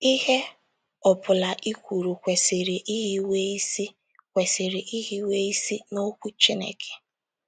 Ihe ọ bụla i kwuru kwesịrị ihiwe isi kwesịrị ihiwe isi n’Okwu Chineke.